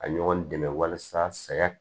Ka ɲɔgɔn dɛmɛ walasa saya